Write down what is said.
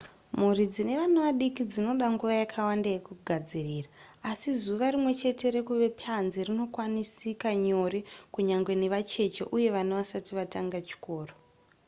mhuri dzine vana vadiki dzinoda nguva yakawanda yekugadzirira asi zuva rimwechete rekuva panze rinokwanisika nyore kunyangwe nevacheche uye vana vasati vatanga chikoro